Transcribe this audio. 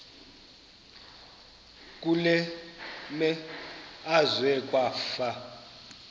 kule meazwe kwafa